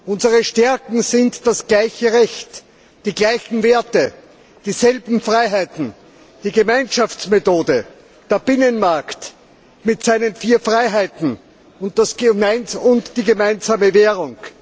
Unsere Stärken sind das gleiche Recht, die gleichen Werte, dieselben Freiheiten, die Gemeinschaftsmethode, der Binnenmarkt mit seinen vier Freiheiten und die gemeinsame Währung.